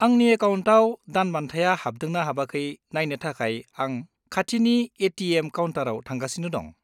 आंनि एकाउन्टाव दानबान्थाया हाबदोंना हाबाखै नायनो थाखाय आं खाथिनि ए.टि.एम. काउन्टाराव थांगासिनो दं।